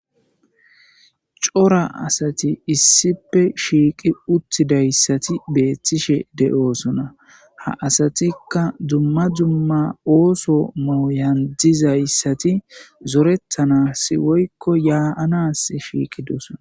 Cora asati issipe shiiqi uttidayssati beettishe de'oosona ha asatikka dumma dumma ooso mauyan dizayssati zorettanasi woykko yaaanas shiiqidosona.